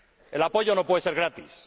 El apoyo no puede ser gratis.